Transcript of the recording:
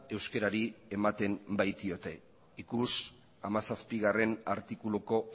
euskerari ematen baitiote ikusi hamazazpigarrena artikuluko